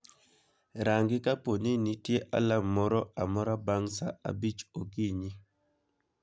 rangi kapo ni nitie alarm moro amora bang' saa abich okinyi